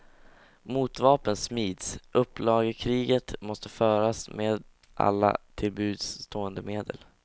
Motvapen smids, upplagekriget måste föras med alla till buds stående medel.